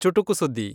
ಚುಟುಕು ಸುದ್ದಿ